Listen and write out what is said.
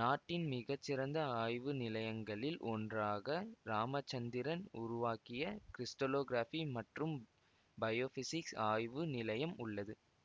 நாட்டின் மிகச்சிறந்த ஆய்வு நிலையங்களில் ஒன்றாக இராமச்சந்திரன் உருவாக்கிய கிருஷ்டலோகிராஃபி மற்றும் பயோஃபிசிக்ஸ் ஆய்வு நிலையம் உள்ளது